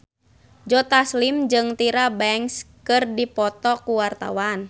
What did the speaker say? Joe Taslim jeung Tyra Banks keur dipoto ku wartawan